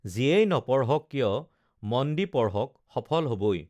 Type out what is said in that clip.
যিয়েই নপঢ়ক কিয় মন দি পঢ়ক সফল হবই